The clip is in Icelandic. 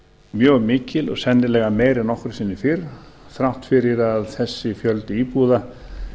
mjög mikil og sennilega meiri en nokkru sinni fyrr þrátt fyrir að þessi fjöldi íbúða